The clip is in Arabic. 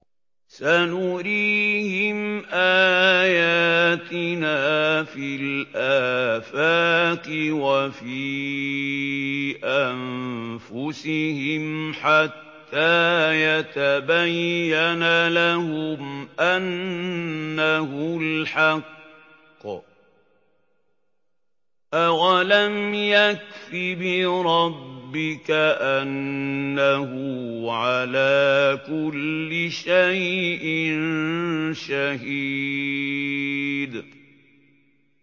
سَنُرِيهِمْ آيَاتِنَا فِي الْآفَاقِ وَفِي أَنفُسِهِمْ حَتَّىٰ يَتَبَيَّنَ لَهُمْ أَنَّهُ الْحَقُّ ۗ أَوَلَمْ يَكْفِ بِرَبِّكَ أَنَّهُ عَلَىٰ كُلِّ شَيْءٍ شَهِيدٌ